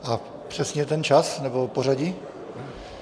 A přesně ten čas nebo pořadí?